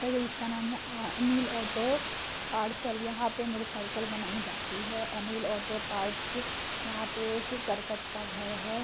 Anil auto parcel यहां पर motorcycle बनाई जाती है अनिल ऑटो पार्ट्स यहां पर एक करकट का घर है|